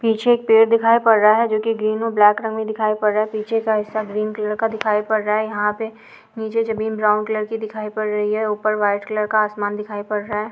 पीछे एक पेड़ दिखाई पड़ रहा है जोकि ग्रीन और ब्लैक रंग मे दिखाई पड़ रहा है पीछे का हिस्सा ग्रीन कलर का दिखाई पड़ रहा है यहाँ पे नीचे जमीन ब्राउन कलर की दिखाई पड़ रही है ऊपर व्हाइट कलर का आसमान दिखाई पड़ रहा है।